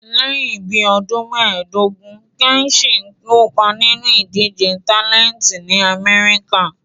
Lẹ́yìn bí ọdún méẹ̀dógún, Kẹ́chì kopa ninu idije tálẹntì ní Amẹ́ríkà